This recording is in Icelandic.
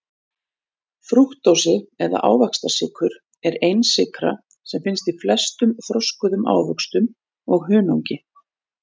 Frúktósi eða ávaxtasykur er einsykra sem finnst í flestum þroskuðum ávöxtum og hunangi.